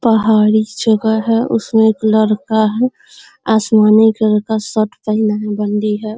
पहाड़ी जगह है उसमें एक लड़का है आसमानी कलर का शर्ट पेहना है बंडी है।